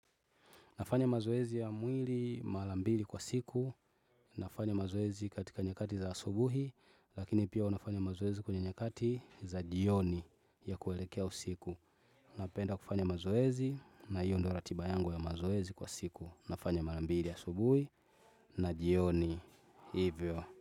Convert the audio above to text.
Nafanya mazoezi ya mwili mara mbili kwa siku. Nafanya mazoezi katika nyakati za asubuhi, lakini pia huwa nafanya mazoezi kwenye nyakati za jioni ya kuelekea usiku. Napenda kufanya mazoezi na hiyo ndio ratiba yangu ya mazoezi kwa siku. Nafanya mara mbili ya asubuhi na jioni. Hivyo.